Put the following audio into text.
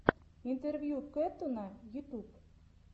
интервью кэттуна ютуб